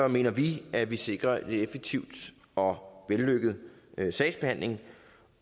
mener vi at vi sikrer en effektiv og vellykket sagsbehandling